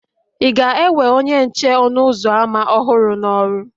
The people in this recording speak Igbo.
Ị ga-ewe onye nche ọnụ ụzọ ámá ọhụrụ n'ọrụ?